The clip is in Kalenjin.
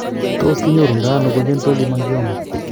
Tos kinyoru ndo ano congenital hemangioma ?